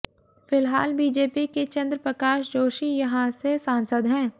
फिलहाल बीजेपी के चंद्र प्रकाश जोशी यहां से सांसद हैं